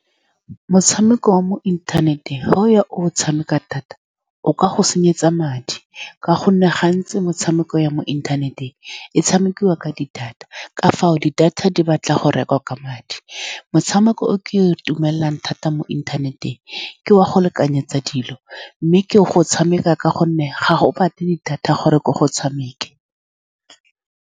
Motshameko wa mo inthaneteng, fa o ya o o tshameka thata, o ka go senyetsa madi, ka gonne gantsi metshameko ya mo inthaneteng e tshamekiwa ka di-data. Ka fao, di-data di batla go rekwa ka madi. Motshameko o ke dumelelang thata mo inthaneteng ke wa go lekanyetsa dilo, mme ke o tshameka ka gonne ga o batle di-data gore ke o tshameka.